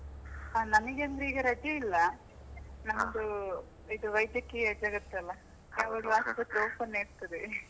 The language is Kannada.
ಹಾ ನಮಗೆ ಅಂದ್ರೆ ಈಗ ರಜೆ ಇಲ್ಲಾ, ನಮ್ಮದು ಇದು ವೈದ್ಯಕೀಯ ಜಗತ್ತು ಅಲಾ open ಏ ಇರ್ತದೆ.